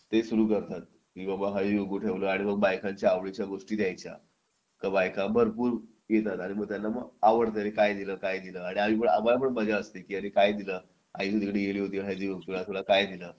ते सुरू करतात की बाबा ये इकडे ठेवला आहे आणि मग बायकांच्या आवडीच्या गोष्टी द्यायच्या त्यामुळे बायका भरपूर येतात मग त्यांना आवडतं त्यांना काय लिहिलं काय दिलं आणि आम्हाला पण मजा असते की अरे काय दिलं आई तिकडे गेली होती हळदी कुंकू ला तुला काय दिलं